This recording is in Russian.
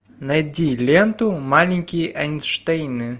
найди ленту маленькие эйнштейны